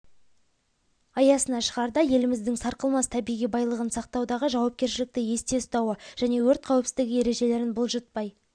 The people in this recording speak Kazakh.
аясына шығарда еліміздің сарқылмас табиғи байлығын сақтаудағы жауапкершілікті есте ұстауы және өрт қауіпсіздігі ережелерін бұлжытпай